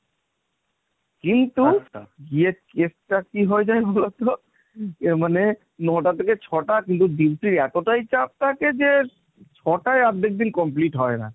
কিন্তু গিয়ে case টা কি হয়ে যায় বলতো এ মানে ন'টা থেকে ছ'টা; কিন্তু duty র এতটাই চাপ থাকে যে ছ'টায় অর্ধেক দিন complete হয়না।